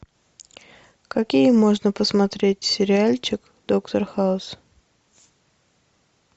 какие можно посмотреть сериальчик доктор хаус